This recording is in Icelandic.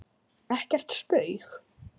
Ekkert spaug